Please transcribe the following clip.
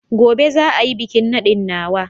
Gobe za a yi bikin nadin nawa